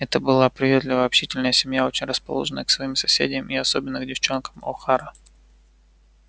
это была приветливая общительная семья очень расположенная к своим соседям и особенно к девочкам охара